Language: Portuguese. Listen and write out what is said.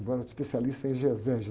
especialista em exegese.